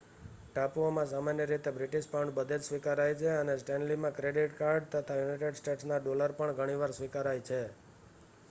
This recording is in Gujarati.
ટાપુઓમાં સામાન્ય રીતે બ્રિટિશ પાઉન્ડ બધે જ સ્વીકારાય છે અને સ્ટૅન્લીમાં ક્રેડિટ કાર્ડ તથા યુનાઇટેડ સ્ટેટ્સના ડૉલર પણ ઘણીવાર સ્વીકારાય છે